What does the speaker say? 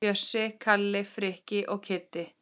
Bjössi, Kalli, Frikki og Kiddi!